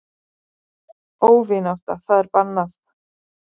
Óvinátta það er bannað.